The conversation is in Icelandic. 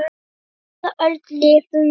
Á hvaða öld lifum við?